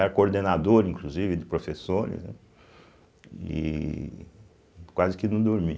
coordenador, inclusive, de professores, né e e quase que não dormia.